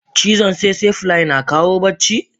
Cizon tsetse fly na kawo bacci?